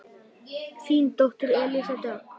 Þín dóttir Elísa Dögg.